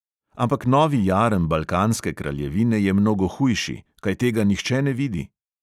"Ampak novi jarem balkanske kraljevine je mnogo hujši, kaj tega nihče ne vidi?"